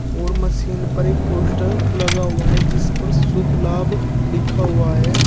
और मशीन पर एक पोस्टर लगा हुआ है जिस पर शुभ लाभ लिखा हुआ है।